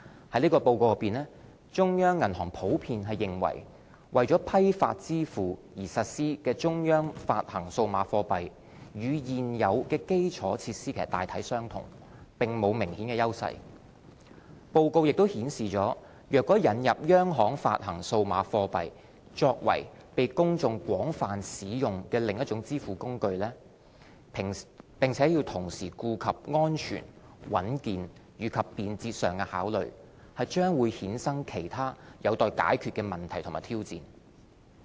在這報告內，中央銀行普遍認為，為批發支付而實施的央行發行數碼貨幣與現有基礎設施大體相同，並無明顯優勢。報告亦顯示若引入央行發行數碼貨幣作為被公眾廣泛使用的另一種支付工具，並同時顧及安全、穩健和便捷上的考慮，將會衍生其他有待解決的問題和挑戰。